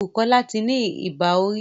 Bukola tí ní Ibà orí